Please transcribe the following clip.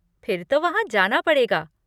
फिर तो वहाँ जाना पड़ेगा।